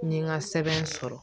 N ye n ka sɛbɛn sɔrɔ